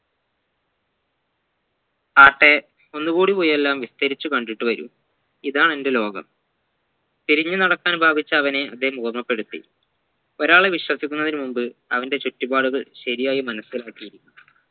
ആട്ടെ ഒന്നുകൂടി പോയി എല്ലാം വിസ്തരിച്ചു കണ്ടിട്ട് വരൂ ഇതാ എന്റെ ലോകം തിരിഞ്ഞു നടക്കാൻ ഭാവിച്ച അവനെ അദ്ദേഹം ഓർമ്മപ്പെടുത്തി ഒരാളെ വിശ്വസിക്കുന്നതിന് മുൻപ് അവന്റെ ചുറ്റുപാട് ശരിയായി മനസ്സിലാക്കി